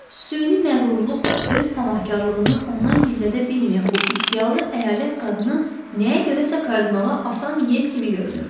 Süni məğrurluqla öz tamahkarlığını ondan gizlədə bilməyən bu iddialı əyalət qadını nəyə görəsə kardinala asan yem kimi görünürdü.